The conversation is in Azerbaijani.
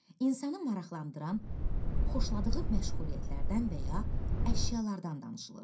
İnsanı maraqlandıran, xoşladığı məşğuliyyətlərdən və ya əşyalardan danışılır.